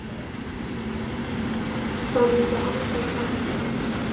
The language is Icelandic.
Það myndi aldrei ganga.